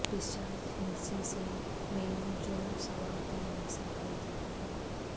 discharge ہندسی سے میل جو سوال پر انحصار کیا جاتا ہے